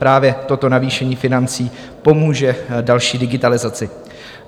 Právě toto navýšení financí pomůže další digitalizaci.